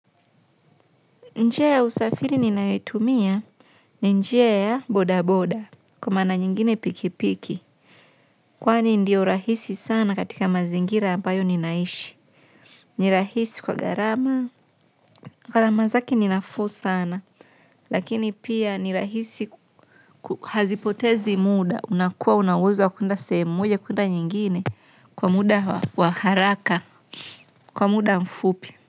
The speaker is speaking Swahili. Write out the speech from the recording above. Njia ya usafiri ninayotumia ni njia ya bodaboda kwa maana nyingine pikipiki. Kwani ndio rahisi sana katika mazingira ambayo ninaishi. N irahisi kwa gharama. Gharama zake ni nafuu sana lakini pia ni rahisi. Hazipotezi muda unakuwa una uwezo wa kuenda sehemu moja kuenda nyingine kwa muda wa haraka kwa muda mfupi.